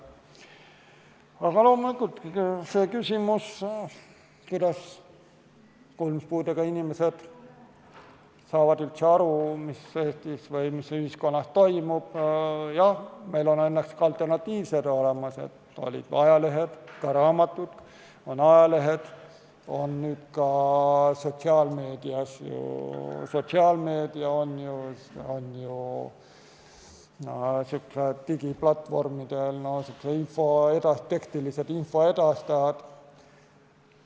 Aga loomulikult, selle küsimuse kohta, kuidas kuulmispuudega inimesed saavad üldse aru, mis Eestis või ühiskonnas toimub: jah, meil on õnneks ka alternatiivid olemas, olid ja on ajalehed, ka raamatud, nüüd on ka sotsiaalmeedias digiplatvormidel tekstilised info edastajad.